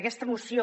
aquesta moció